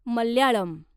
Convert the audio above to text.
Malayalam